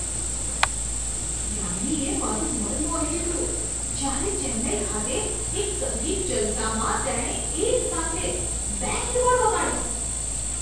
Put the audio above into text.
યાન્નીએ મારું મન મોહી લીધું જ્યારે ચેન્નાઈ ખાતે એક સંગીત જલસામાં તેણે એક સાથે બે કીબોર્ડ વગાડ્યા.